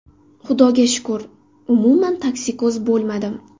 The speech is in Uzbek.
Xudoga shukur, umuman toksikoz bo‘lmadim.